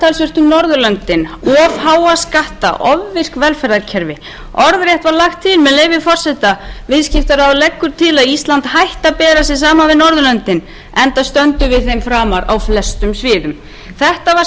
skatta ofvirk velferðarkerfi orðrétt var lagt til með leyfi forseta viðskiptaráð leggur til að ísland hætti að bera sig saman við norðurlöndin enda stöndum við þeim framar á flestum sviðum þetta var